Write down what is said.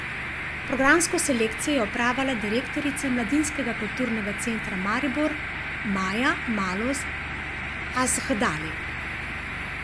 Programsko selekcijo je opravila direktorica Mladinskega kulturnega centra Maribor Maja Malus Azhdari.